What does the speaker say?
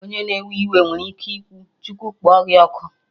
Onye na-ewe iwe nwere ike kwuo "Chukwu kpọ gị ọkụ"